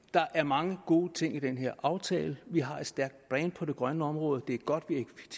der er mange gode ting i den her aftale vi har et stærkt brand på det grønne område og det er godt